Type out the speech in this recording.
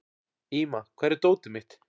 Íma, hvar er dótið mitt?